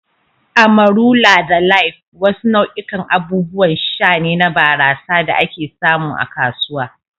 "Amarula da Life" wasu nau'ikan abubuwan sha ne na barasa da ake samu a kasuwa.